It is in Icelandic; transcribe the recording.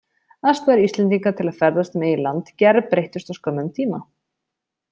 Aðstæður Íslendinga til að ferðast um eigið land gerbreyttust á skömmum tíma.